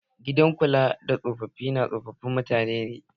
Gidan kula da tsofafi na tsofafin mutane ne.